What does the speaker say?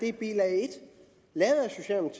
er bilag